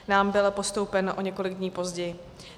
Nám byl postoupen o několik dní později.